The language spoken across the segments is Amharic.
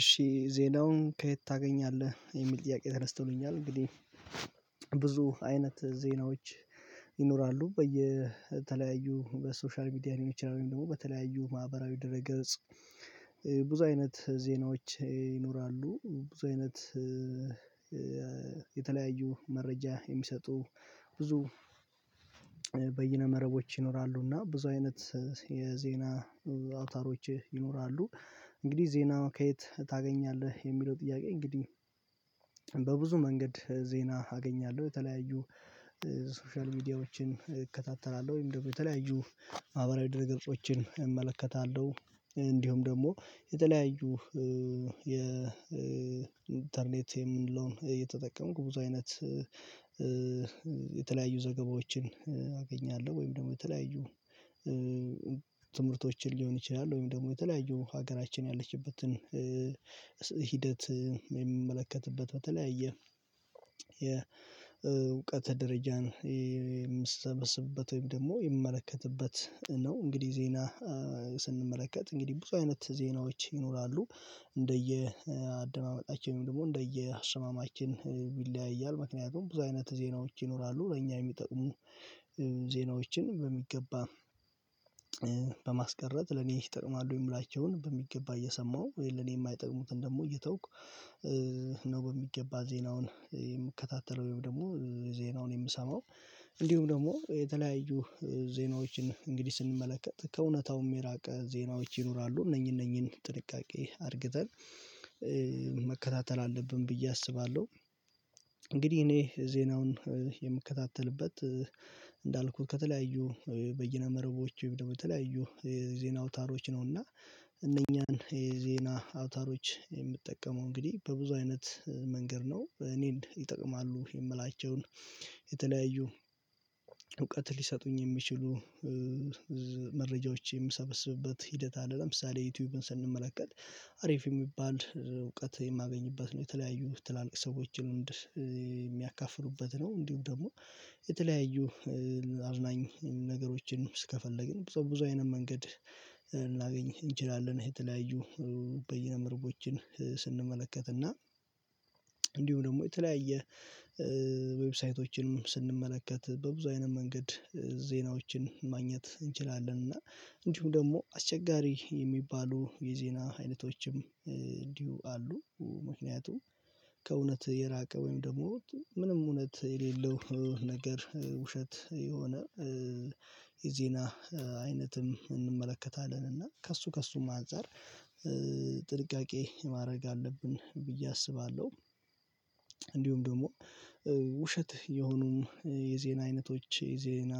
እሺ ዜናውን ከየት ታገኛለህ? የሚል ጥያቄ ተነስተኑኛል እንግዲህ ብዙ አይነት ዜናዎች ይኖራሉ በየተለያዩ በሶሻል ሚዲያ ሊሆን ይችላል ወይም ደግሞ በተለያዩ ማህበራዊ ድረገጽ ብዙ አይነት ዜናዎች ይኖራሉ። ብዙ አይነት የተለያዩ መረጃ የሚሰጡ ብዙ መረቦች ይኖራሉና ብዙ አይነት የዜና አውታሮች ይኖራሉ። እንግዲህ ዜና ከየት ታገኛለህ? የሚለው ጥያቄ እንግዲህ በብዙ መንገድ ዜና አገኛለሁ። የተለያዩ ሶሻል ሚዲያዎችን እከታተላለሁ። ወይም ደግሞ የተለያዩ ማህበራዊ ድርግርቆችን እመለከታለሁ። እንዲሁም ደግሞ የተለያዩ የኢንተርኔት የምንለውን እየተጠቀምኩ ብዙ አይነት የተለያዩ ዘገባዎችን አገኛለሁ። ወይም ደግሞ የተለያዩ ትምህርቶችን ሊሆን ይችላል ወይም ደግሞ የተለያዩ ሀገራችን ያለችበትን ሂደት የምመለከትበት በተለያየ ደረጃን የምንሰበስብበት ወይም ደግሞ የምመለከትበት ነው። እንግዲህ ዜና ስንመለከት እንግዲህ ብዙ አይነት ዜናዎች ይኖራሉ። እንደየአደማመጣችን ደግሞ እንደየስማማችን ይለያያል ምክንያቱም ብዙ አይነት ዜናዎች ይኖራሉ። ለእኛ የሚጠቅሙ ዜናዎችን በሚገባ በማስቀረት ለኔ ይጠቅማሉ የምላቸውን በሚገባ እየሰማሁ ለኔ ማይጠቅሙትን ደግሞ እየተውኩ ነው በሚገባ ዜናውን የምከታተለው። ወይም ደግሞ ዜናውን የምሰማው እንዲሁም ደግሞ የተለያዩ ዜናዎችን እንግዲህ ስንመለከት ከእውነታውም የራቀ ዜናዎች ይኖራሉ። እነኚህ እነኚህን ጥንቃቄ አርግተን መከታተል አለብን ብዬ አስባለሁ። እንግዲህ እኔ ዜናውን የምከታተልበት እንዳልኩት ከተለያዩ በየነመረቦች የተለያዩ የዜና አውታሮች ነውና እነኛን የዜና አውታሮች የምጠቀመው እንግዲህ በብዙ አይነት መንገድ ነው። እኔን ይጠቅማሉ የምላቸውን የተለያዩ እውቀት ሊሰጡኝ የሚችሉ መረጃዎች የምሰበስብበት ሂደት አለ ለምሳሌ ዩቲዩብን ስንመለከት አሪፍ የሚባል እውቀት የማገኝበት ነው። የተለያዩ ትላልቅ ሰዎችን የሚያካፍሉበት ነው። እንዲሁም ደግሞ የተለያዩ አዝናኝ ነገሮችን እስከፈለግን ብዙ ብዙ አይነት መንገድ ልናገኝ እንችላለን። የተለያዩ በይነመረቦችን ስንመለከትና እንዲሁም ደግሞ የተለያየ ዌብሳ ስንመለከት በብዙ አይነት መንገድ ዜናዎችን ማግኘት እንችላለን እና እንዲሁም ደግሞ አስቸጋሪ የሚባሉ የዜና አይነቶችም እንዲሁ አሉ። ምክንያቱም ከእውነት የራቀ ወይም ደግሞ ምንም እውነት የሌለው ነገር ውሸት የሆነ የዜና አይነትም እንመለከታለን እና ከእሱ ከእሱም አንፀር ጥንቃ ማድረግ አለብን ብዬ አስባለሁ። እንዲሁም ደግሞ ውሸት የሆኑ የዜና አይነቶች የዜና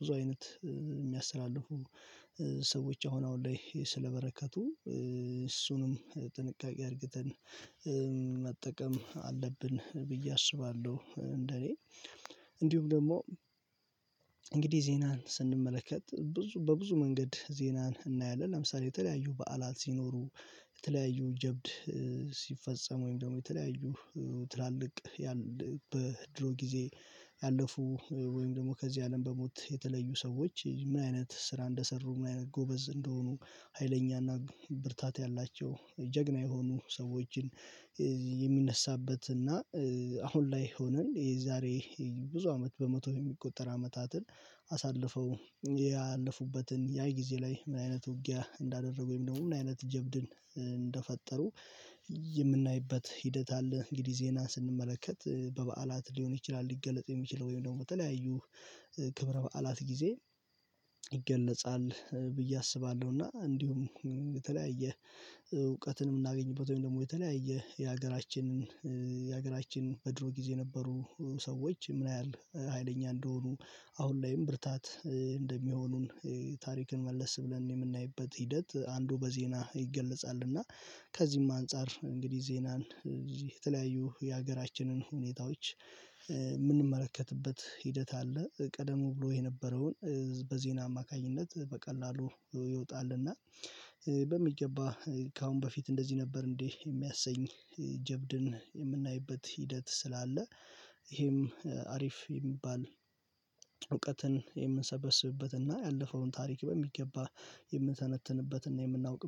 ብዙ አይነት የሚያስተላልፉ ሰዎች አሁን አሁን ላይ ስለበረከቱ እሱንም ጥንቃቄ አድርገን መጠቀም አለብን ብዬ አስባለሁ እንደኔ እንዲሁም ደግሞ እንግዲህ ዜናን ስንመለከት ብዙ በብዙ መንገድ ዜናን እናያለን ለምሳሌ የተለያዩ በዓላት ሲኖሩ የተለያዩ ጀብድ ሲፈጸም ወይም ደግሞ የተለያዩ ትላልቅ ያለ በድሮ ጊዜ ያለፉ ወይም ደግሞ ከዚህ አለም በሞት የተለዩ ሰዎች ምን አይነት ስራ እንደሰሩ ምን ጎበዝ እንደሆኑ ሀይለኛና ብርታት ያላቸው ጀግና የሆኑ ሰዎችን የሚነሳ እና አሁን ላይ ሆነን የዛሬ ብዙ አመት በመቶ የሚቆጠር አመታትን አሳልፈው ያለፉበትን ያ ጊዜ ላይ ምን አይነት ውጊያ እንዳደረጉ ወይም ደግሞ ምን አይነት ጀብድን እንደፈጠሩ የምናይበት ሂደት አለ። እንግዲህ ዜና ስንመለከት በበዓላት ሊሆን ይችላል ሊገለጥ የሚችለው ወይም ደግሞ በተለያዩ ክብረ በዓላት ጊዜ ይገለጻል ብዬ አስባለሁ እና እንዲሁም የተለያየ እውቀትን ምናገኝበት ወይም ደግሞ የተለያየ የሀገራችንን የሀገራችን በድሮ ጊዜ ነበሩ ሰዎች ምን ያህል ሀይለኛ እንደሆኑ አሁን ላይም ብርታት እንደሚሆኑን ታሪክን መለስ ብለን የምናይበት ሂደት አንዱ በዜና ይገለጻል እና ከዚህም አንፃር እንግዲህ ዜናን የተለያዩ የሀገራችንን ሁኔታዎች ምንመለከትበት ሂደት አለ ቀደሙ ብሎ የነበረውን በዜና አማካኝነት በቀላሉ ይወጣልና በሚገባ ከአሁን በፊት እንደዚህ ነበር እንዴ የሚያሰኝ ጀብድን የምናይበት ሂደት ስላለ ይሄም አሪፍ የሚባል እውቀትን የምንሰበስብበትና ያለፈውን ታሪክ በሚገባ የምንተነትንበትና የምናውቅ